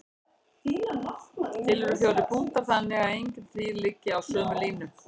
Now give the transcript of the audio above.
Til eru fjórir punktar þannig að engir þrír liggi á sömu línu.